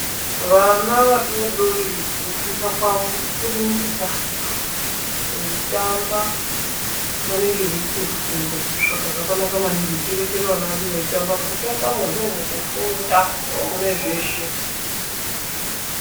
VANA VADODORI KUFUNDA KWAWO KURIMUKUTAMBA, VEITAMBA VANENGE VEYIFUNDA, SAKA ZVAKANAKA MANINGI KUTI TIREKERE ANA EDU EITAMBA NEKUTI MUKUTAMBAMO NDOMWUKUFUNDA, NDOMWUNEZVESE.